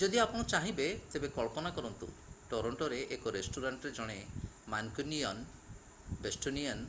ଯଦି ଆପଣ ଚାହିଁବେ ତେବେ କଳ୍ପନା କରନ୍ତୁ ଟରଣ୍ଟୋରେ ଏକ ରେଷ୍ଟୁରାଣ୍ଟରେ ଜଣେ ମାନକ୍ୟୁନିୟାନ୍ ବୋଷ୍ଟୋନିଆନ୍